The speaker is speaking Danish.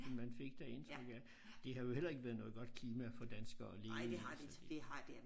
Man fik da indtryk af det har jo heller ikke været noget godt klima for danskere at leve i så det